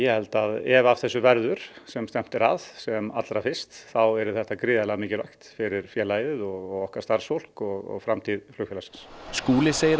ef af þessu verður sem stefnt er að sem allra fyrst þá yrði þetta gríðarlega mikilvægt fyrir félagið og okkar starfsfólk og framtíð flugfélagsins Skúli segir að